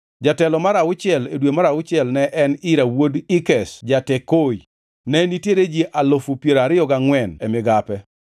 Jatelo mar auchiel, e dwe mar auchiel ne en Ira wuod Ikesh ja-Tekoi. Ne nitiere ji alufu piero ariyo gangʼwen (24,000) e migape.